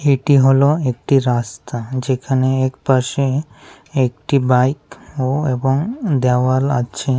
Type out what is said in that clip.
এটি হল একটি রাস্তা যেখানে একপাশে একটি বাইক ও এবং দেওয়াল আছে।